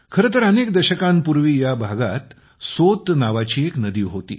खरे तर अनेक दशकांपूर्वी या भागात सोत नावाची एक नदी होती